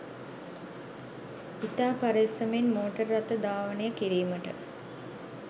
ඉතා පරෙස්සමෙන් මෝටර් රථ ධාවනය කිරීමට